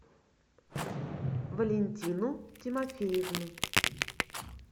валентину тимофеевну